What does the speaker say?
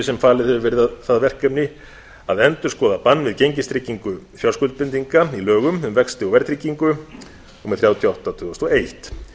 sem falið hefur verið það verkefni að endurskoða bann við gengistryggingu fjárskuldbindinga í lögum um vexti og verðtryggingu númer þrjátíu og átta tvö þúsund og eitt